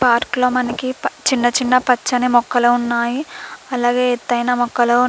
Park లో మనకి పా చిన్న చిన్న పచ్చని మొక్కలు ఉన్నాయి. అలాగే ఎత్తైన మొక్కలు --